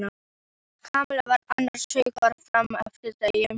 Kamilla var annars hugar fram eftir degi.